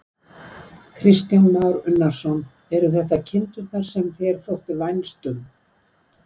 Kristján Már Unnarsson: Eru þetta kindurnar sem þér þótti vænst um?